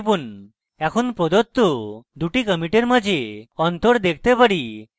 এখন প্রদত্ত দুটি কমিটের মাঝে অন্তর দেখতে পারি